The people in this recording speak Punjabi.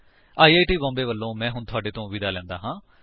ਆਈ ਆਈ ਟੀ ਬੌਮਬੇ ਵਲੋਂ ਮੈਂ ਹੁਣ ਤੁਹਾਡੇ ਤੋਂ ਵਿਦਾ ਲੈਂਦਾ ਹਾਂ